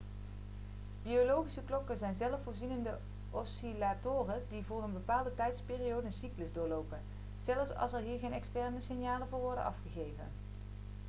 biologische klokken zijn zelfvoorzienende oscillatoren die voor een bepaalde tijdsperiode een cyclus doorlopen zelfs als er hier geen externe signalen voor worden afgegeven